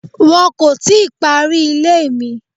Wọ́n kò tíì parí ilé mi.